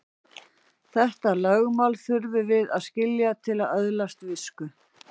Þetta lögmál þurfum við að skilja til að öðlast visku.